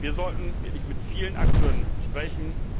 Wir sollten wirklich mit vielen Akteuren sprechen.